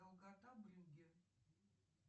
долгота брюгге